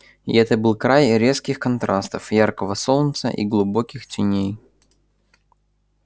и это был край резких контрастов яркого солнца и глубоких теней